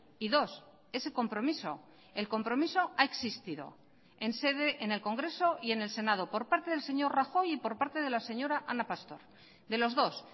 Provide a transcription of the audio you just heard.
y dos ese compromiso el compromiso ha existido en sede en el congreso y en el senado por parte del señor rajoy y por parte de la señora ana pastor de los dos